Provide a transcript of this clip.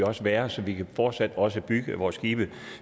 også være så vi fortsat også kan bygge vores skibe